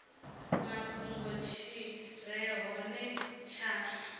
mafhungo tshi re hone tsha